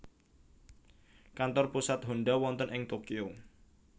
Kantor pusat Honda wonten ing Tokyo